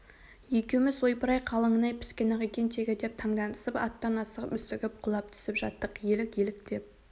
екеуіміз ойпыр-ай қалыңын-ай піскен-ақ екен тегі деп таңданысып аттан асығып-үсігіп құлап түсіп жаттық елік елік деп